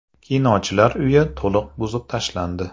Kinochilar uyi to‘liq buzib tashlandi .